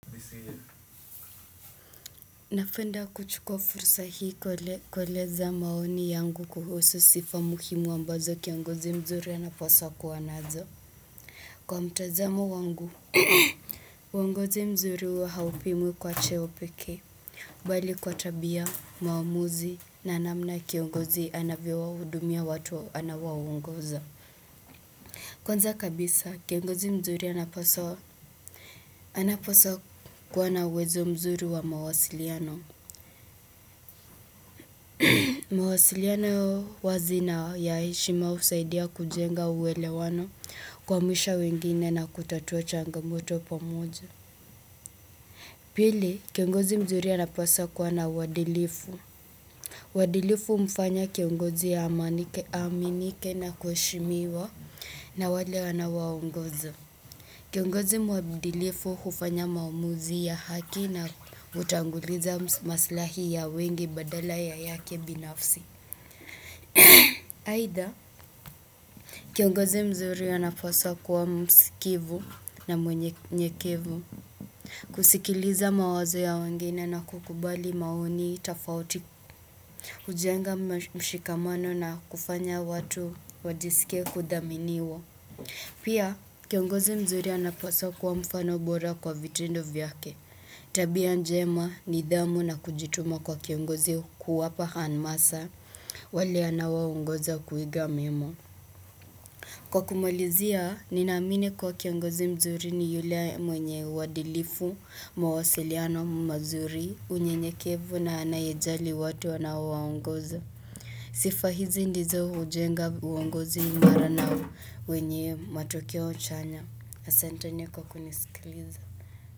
Napenda kuchukua fursa hii kueleza maoni yangu kuhusu sifa muhimu ambazo kiongozi mzuri anapaswa kuwa nazo. Kwa mtazamo wangu, uongozi mzuri huwa haupimwi kwa cheo peke. Bali kwa tabia, maamuzi, na namna kiongozi anavyo wa hudumia watu anaowaongoza. Kwanza kabisa, kiongozi mzuri anapaswa kuwa na uwezo mzuri wa mawasiliano. Mawasiliano wazina ya heshima husaidia kujenga uwelewano kua misha wengine na kutatua changamoto pamoja. Pili, kiongozi mzuri anapaswa kuwa na uwadilifu. Wadilifu mfanya kiongozi ya aminike na kuheshimiwa na wale anaowaongozi. Kiongozi mwadilifu hufanya maamuzi ya haki na utanguliza maslahi ya wengi badala ya yake binafsi. Aidha, kiongozi mzuri anapaswa kuwa msikivu na mwenyekevu kusikiliza mawazo ya wengine na kukubali maoni tafauti kujenga mshikamano na kufanya watu wajisikie kudhaminiwa Pia, kiongozi mzuri anapaswa kuwa mfano bora kwa vitendo vyake Tabia njema nidhamu na kujituma kwa kiongozi kuwapa hamasa wale anao waongoza kuiga memo Kwa kumulizia, ninazamini kuwa kiongozi mzuri ni yule mwenye uwadilifu, mawasiliano, mazuri, unyenyekevu na anayejali watu wanao waongoza. Sifa hizi ndizo ujenga uongozi mbadala na wenye matokeo uchanya. Asenteni kwa kunisikiliza.